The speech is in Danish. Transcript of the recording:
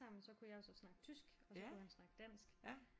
Sammen så kunne jeg jo så snakke tysk og han kunne snakke dansk